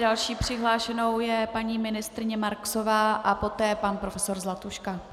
Další přihlášenou je paní ministryně Marksová a poté pan profesor Zlatuška.